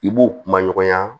I b'u kuma ɲɔgɔnya